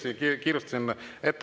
Siiski kiirustasin ette.